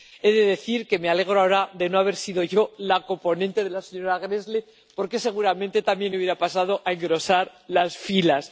He de decir que me alegro ahora de no haber sido yo la coponente de la señora Gräßle, porque seguramente también habría pasado a engrosar esas filas.